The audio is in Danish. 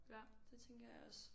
Ja det tænker jeg også